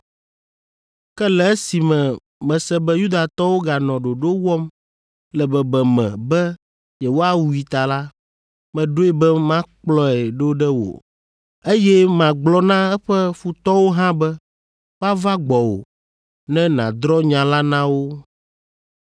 Ke le esime mese be Yudatɔwo ganɔ ɖoɖo wɔm le bebeme be yewoawui ta la, meɖoe be makplɔe ɖo ɖe wò, eye magblɔ na eƒe futɔwo hã be woava gbɔwò ne nàdrɔ̃ nya la na wo.